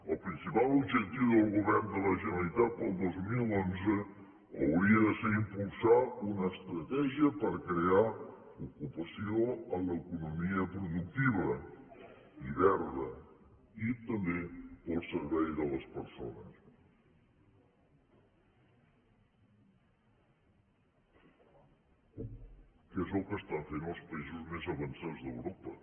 el principal objectiu del govern de la generalitat per al dos mil un hauria de ser impulsar una estratègia per crear ocupació en l’economia productiva i verda i també per al servei de les persones que és el que estan fent els països més avançats d’europa